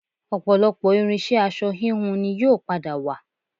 Ọ̀pọ̀lọpọ̀ irinṣẹ́ aṣọ híhun ni yóò padà wà